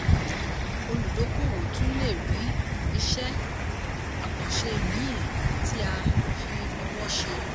olùdókòwò tún le ri iṣẹ́-àkànṣe mìí tí a fi owó ṣe.